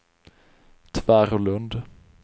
Tvärålund